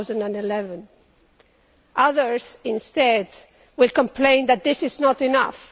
2011. Others instead will complain that this is not enough.